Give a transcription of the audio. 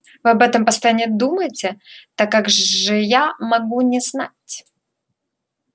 вы об этом постоянно думаете так как же я могу не знать